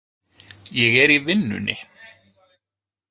Ég er í vinnunni.